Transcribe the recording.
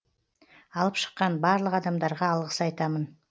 алып шыққан барлық адамдарға алғыс айтамын